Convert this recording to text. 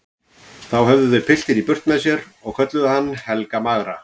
Þá höfðu þau piltinn í burt með sér og kölluðu hann Helga magra.